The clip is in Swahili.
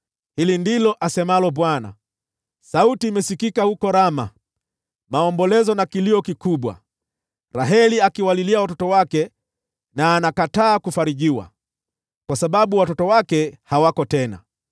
Hili ndilo asemalo Bwana : “Sauti imesikika huko Rama, maombolezo na kilio kikubwa, Raheli akiwalilia watoto wake na anakataa kufarijiwa, kwa sababu watoto wake hawako tena.”